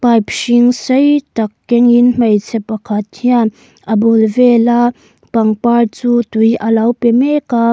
pipe hring sei tak keng in hmeichhe pakhat hian a bul vela pangpar chu tui alo pe mek a.